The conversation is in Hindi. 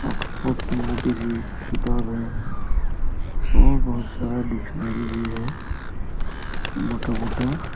ऑक्सफोर्ड की मोटी सी किताब है और बहुत सारा डिक्शनरी भी है मोटा- मोटा।